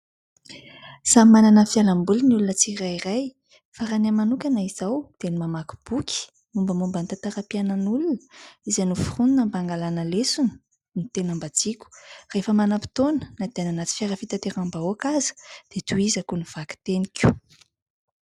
Samy manana ny fialaboliny ny olona tsirairay. Fa raha ny ahy manokana izao dia ny mamaky boky. Mombamomba ny tantaram-piainan'olona izay noforonina mba angalana lesona no tena mba tiko. Rehefa mananam-potoana na dia any anaty fiara fitateram-bahoaka aza dia tohizako ny vakiteniko.